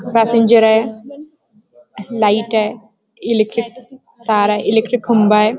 पॅसेंजरय लाइटय इलेक्ट्रिक तारय इलेक्ट्रिक खांबय.